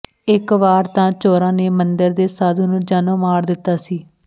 ਇਕ ਵਾਰ ਤਾਂ ਚੋਰਾਂ ਨੇ ਮੰਦਰ ਦੇ ਸਾਧੂ ਨੂੰ ਜਾਨੋਂ ਮਾਰ ਦਿੱਤਾ ਸੀ